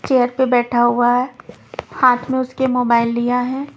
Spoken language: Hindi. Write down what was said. चेयर पे बैठा हुआ है हाथ में उसके मोबाइल लिया है।